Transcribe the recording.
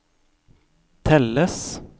telles